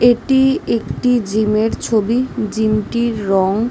এটি একটি জিম -র ছবি। জিম -টির রং--